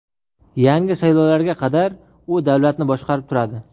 Yangi saylovlarga qadar u davlatni boshqarib turadi.